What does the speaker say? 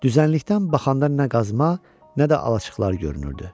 Düzənlikdən baxanda nə qazma, nə də alaçıqlar görünürdü.